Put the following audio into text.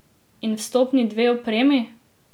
In vstopni dve opremi?